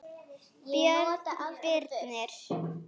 Björn Birnir.